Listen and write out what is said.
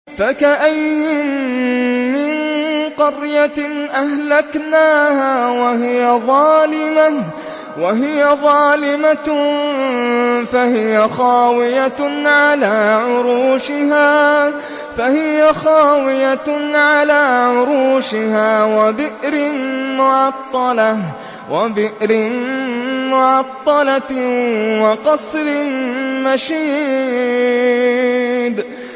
فَكَأَيِّن مِّن قَرْيَةٍ أَهْلَكْنَاهَا وَهِيَ ظَالِمَةٌ فَهِيَ خَاوِيَةٌ عَلَىٰ عُرُوشِهَا وَبِئْرٍ مُّعَطَّلَةٍ وَقَصْرٍ مَّشِيدٍ